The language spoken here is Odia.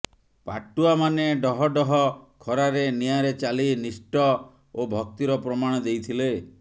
ପାଟୁଆମାନେ ଡହଡହ ଖରାରେ ନିଆଁରେ ଚାଲି ନିଷ୍ଠ ଓ ଭକ୍ତିର ପ୍ରମାଣ ଦେଇଥିଲେ